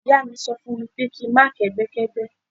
Ìyá mi sọ fún mi pé kí n má kẹ́gbẹ́ kẹ́gbẹ́.